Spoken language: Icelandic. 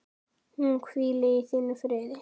Hún hvíli í þínum friði.